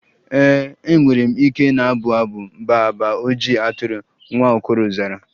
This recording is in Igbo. Ee, m nwere ike na-abụ abụ baa baa ojii atụrụ, nwa okoro zara.